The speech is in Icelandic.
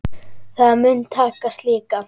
Það mun takast líka.